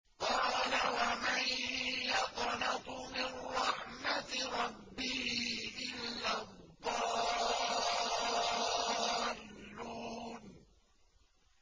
قَالَ وَمَن يَقْنَطُ مِن رَّحْمَةِ رَبِّهِ إِلَّا الضَّالُّونَ